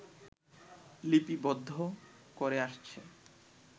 লিপিবদ্ধ করে আসছে